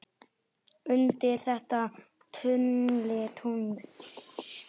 undir þetta tungl, tungl.